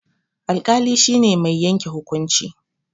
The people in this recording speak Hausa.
Alƙali shi ne mai yanke hukunci.